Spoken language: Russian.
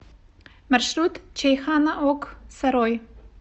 маршрут чайхана ок сарой